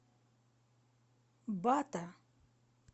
бата